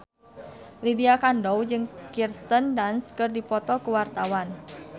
Lydia Kandou jeung Kirsten Dunst keur dipoto ku wartawan